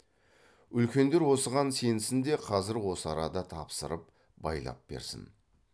үлкендер осыған сенсін де қазір осы арада тапсырып байлап берсін